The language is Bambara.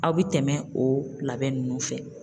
Aw bi tɛmɛ o labɛn nunnu fɛ